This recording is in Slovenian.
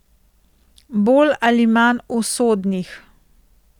Bolj ali manj usodnih.